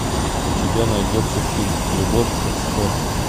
у тебя найдется фильм любовь как спорт